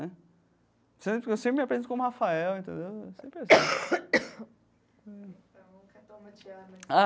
Eu sem eu sempre me apresento como Rafael, entendeu? É sempre assim.